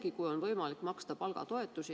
Isegi kui on võimalik maksta palgatoetusi.